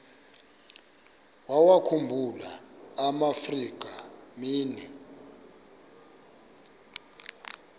wawakhumbul amaafrika mini